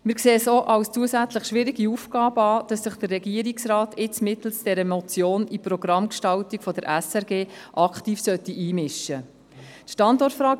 Wir sehen es auch als zusätzliche, schwierige Aufgabe an, wenn sich der Regierungsrat mittels dieser Motion in die Programmgestaltung der SRG aktiv einmischen soll.